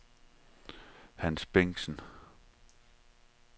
Hans Bengtsen